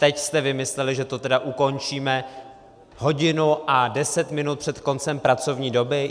Teď jste vymysleli, že to tedy ukončíme hodinu a deset minut před koncem pracovní doby?